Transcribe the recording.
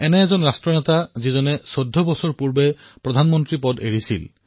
এজন এনে ৰাষ্ট্ৰ নেতা যিয়ে ১৪ বৰ্ষ পূৰ্বে প্ৰধানমন্ত্ৰীৰ পদ ত্যাগ কৰিছিল